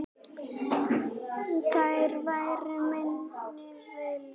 Þar væri minni vindur.